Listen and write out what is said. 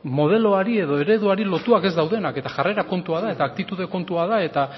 modeloari edo ereduari loturik ez daudenak eta jarrera kontua da eta aktitude kontua da eta